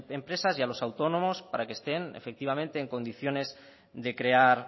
empresas y a los autónomos para que estén efectivamente en condiciones de crear